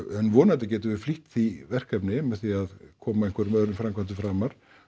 en vonandi getum við flýtt því verkefni með því að koma einhverjum öðrum framkvæmdum framar